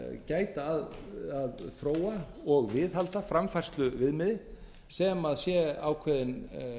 gæta að að þróa og viðhalda framfærsluviðmiði sem sé ákveðinn